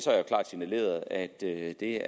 klart signaleret at det